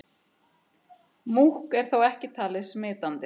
Múkk er þó ekki talið smitandi.